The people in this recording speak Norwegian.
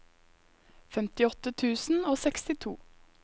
femtiåtte tusen og sekstito